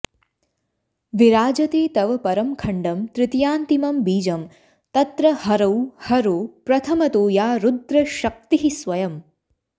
विराजते तव परं खण्डं तृतीयान्तिमं बीजं तत्र हरौ हरो प्रथमतो या रुद्रशक्तिः स्वयम्